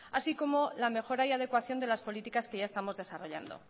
así como la mejora y adecuación de las políticas que ya estamos desarrollando